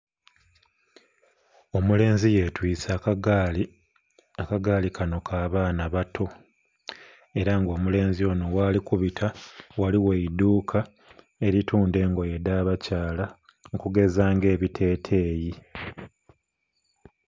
Omulenzi yetwise akagaali, akagaali kano ka baana bato era nga omulenzi ono ghali kubita ghaligho eiduuka eritunda engoye edh'abakyala okugeza ng'ebiteteeyi .